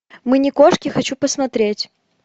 мы не кошки хочу посмотреть